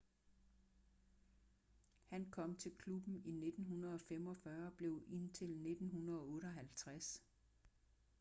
han kom til klubben i 1945 og blev indtil 1958